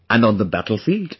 And on the battlefield